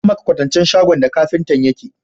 Zan maka kwasancen wurin da shagon kafintan yake.